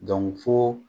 fo